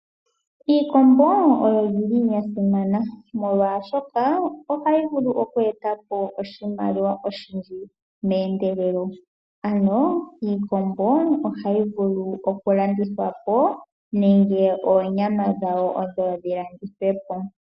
Iikombo oya simana molwaashoka ohayi vulu oku eta po oshimaliwa oshindji meendelelo. Iikombo ohayi vulu oku landithwa po nenge onyama yawo oyo yi landithwepo.